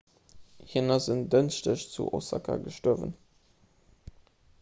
hien ass en dënschdeg zu osaka gestuerwen